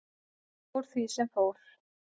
Fór því sem fór.